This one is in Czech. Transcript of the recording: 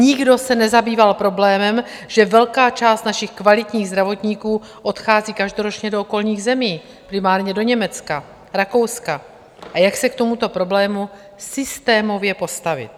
Nikdo se nezabýval problémem, že velká část našich kvalitních zdravotníků odchází každoročně do okolních zemí, primárně do Německa, Rakouska, a jak se k tomuto problému systémově postavit.